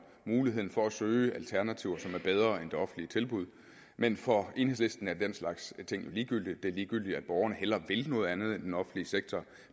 muligheden for at søge alternativer som er bedre end det offentlige tilbud men for enhedslisten er den slags ting jo ligegyldige det er ligegyldigt at borgerne hellere vil noget andet end den offentlige sektor